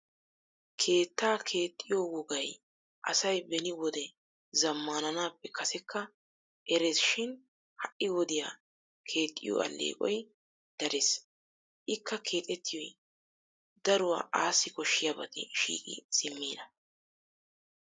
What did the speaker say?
Keetta keexxiyo wogay asay beni wode zammananappe kaasekka erressi shin ha'i wodiya keexxiyo allequwa darees. Ikka keexxetiyoy daruwa assi koshshiyabati shiqqi simmina.